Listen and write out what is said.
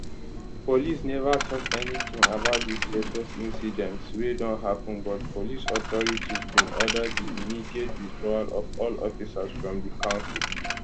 police never tok anytin about dis latest incidents wey don happen but police authorities bin order di immediate withdrawal of all officers from di council